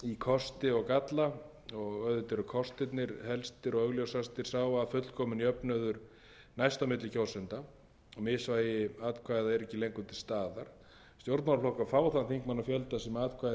kosti og galla auðvitað eru kostirnir helstir og augljósastir sá að fullkominn jöfnuður næst á milli kjósenda og misvægi atkvæða er ekki lengur til staðar stjórnmálaflokkar fá þann þingmannafjölda sem atkvæði þeim greidd segja til um og þingmenn hafa heildarhagsmuni í ríkari mæli að